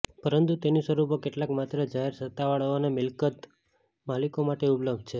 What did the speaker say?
પરંતુ તેની સ્વરૂપો કેટલાક માત્ર જાહેર સત્તાવાળાઓ અને મિલકત માલિકો માટે ઉપલબ્ધ છે